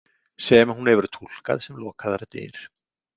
Sem hún hefur túlkað sem lokaðar dyr.